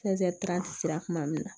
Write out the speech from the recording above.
sera kuma min na